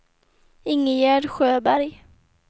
Ingegerd Sjöberg